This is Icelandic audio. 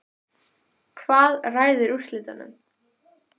Hvað ræður úrslitum?